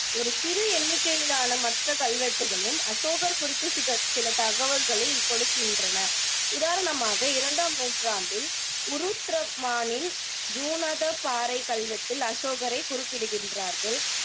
ஒரு சிறு எண்ணிக்கையிலான மற்ற கல்வெட்டுக்களும் அசோகர் குறித்து சித சில தகவல்களைக் கொடுக்கின்றன உதாரணமாக, இரண்டாம் நூற்றாண்டில் பாறைக் கல்வெட்டில் அசோகரை குறிப்பிடப்படுகின்றார்கள்